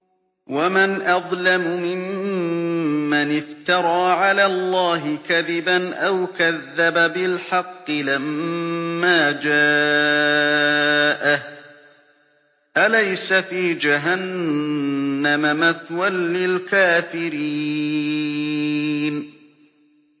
وَمَنْ أَظْلَمُ مِمَّنِ افْتَرَىٰ عَلَى اللَّهِ كَذِبًا أَوْ كَذَّبَ بِالْحَقِّ لَمَّا جَاءَهُ ۚ أَلَيْسَ فِي جَهَنَّمَ مَثْوًى لِّلْكَافِرِينَ